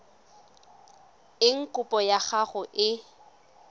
eng kopo ya gago e